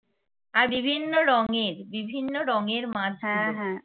আর বিভিন্ন রঙের বিভিন্ন রঙের মাছ ছিল